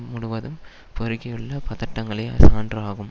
முழுவதும் பெருகியுள்ள பதட்டங்களே சான்று ஆகும்